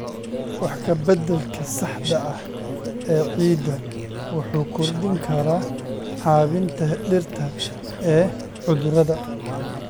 Wax ka beddelka saxda ah ee ciidda wuxuu kordhin karaa caabbinta dhirta ee cudurrada.